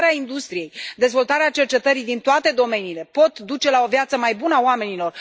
Inovarea industriei, dezvoltarea cercetării din toate domeniile pot duce la o viață mai bună a oamenilor.